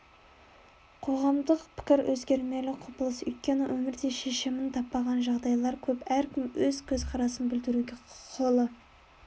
қоғамдық пікір өзгермелі құбылыс өйткені өмірде шешімін таппаған жағдайлар көп әркім өз көзқарасын білдіруге құқылы